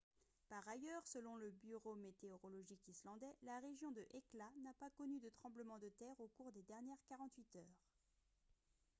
par ailleurs selon le bureau météorologique islandais la région de hekla n'a pas connu de tremblement de terre au cours des dernières 48 heures